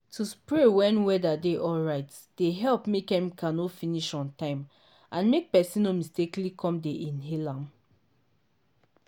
to spray when whether dey alright dey help make chemical no finish ontime and make person no mistakenly come dey inhale am.